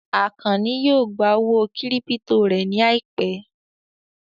Àkànní yóò gbà owó kírípítò rẹ̀ ní àìpẹ́